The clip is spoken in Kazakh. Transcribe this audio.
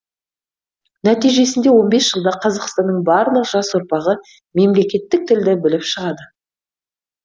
нәтижесінде он бес жылда қазақстанның барлық жас ұрпағы мемлекеттік тілді біліп шығады